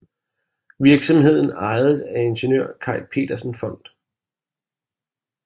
Virksomheden ejedes af Ingeniør Kai Petersens Fond